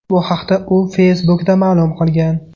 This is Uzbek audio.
Bu haqda u Facebook’da ma’lum qilgan .